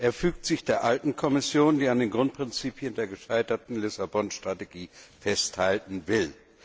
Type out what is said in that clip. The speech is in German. Er fügt sich der alten Kommission, die an den Grundprinzipien der gescheiterten Lissabon Strategie festhalten will.